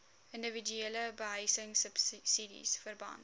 indiwiduele behuisingsubsidies verband